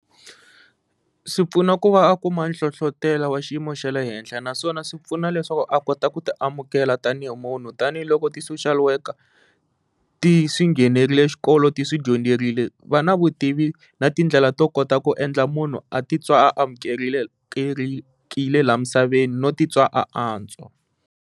Swi pfuna ku va a kuma nhlohlotelo wa xiyimo xa le henhla naswona swi pfuna leswaku a kota ku ti amukela tanihi munhu tanihiloko ti-social worker ti swi nghenerile xikolo ti swi dyondzerile va na vutivi na tindlela to kota ku endla munhu a ti twa va amukerile la misaveni no titwa a antswa.